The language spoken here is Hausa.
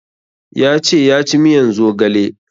Ya ce ya ci miyan zogale